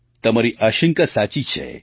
તમારી આશંકા સાચી છે